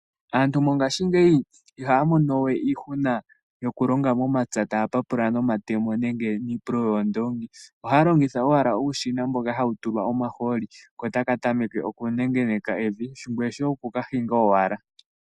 Aantu mongashingeyi ihaya mono we iihuna yokulonga momampya taya papula momatemo nenge niipululo yoondoongi, ohaya longitha owala uushina mboka hawu tulwa omahooli kotaka tameke okunengeneka evi ngoye shoye oku kahinga owala.